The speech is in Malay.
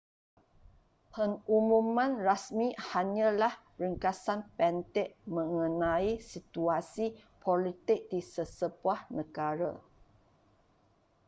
pengumuman rasmi hanyalah ringkasan pendek mengenai situasi politik di sesebuah negara